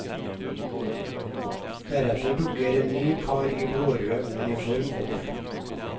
Deretter dukker en ny kar i blårød uniform opp.